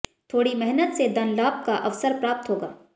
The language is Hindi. थोड़ी मेहनत से धन लाभ का अवसर प्राप्त होगा